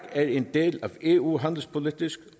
er en del af eu handelspolitisk